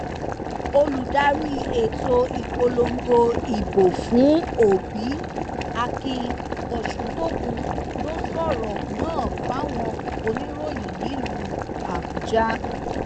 olùdarí ètò ìpolongo ìbò fún òbí akin oṣùntúnkùn ló sọrọ náà fáwọn oníròyìn nílùú àbújá